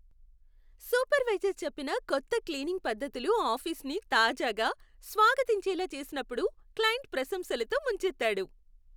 Supervisor చెప్పిన కొత్త cleaning పద్ధతులు ఆఫీసును తాజాగా, స్వాగతించేలా చేసినప్పుడు క్లయింట్ ప్రశంసలతో ముంచెత్తాడు.